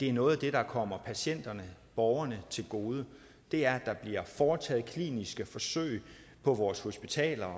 er noget af det der kommer patienterne borgerne til gode det er der bliver foretaget kliniske forsøg på vores hospitaler og